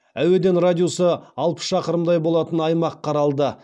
әуеден радиусы алпыс шақырымдай болатын аймақ қаралды